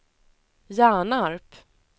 Hjärnarp